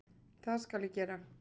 Það skal ég gera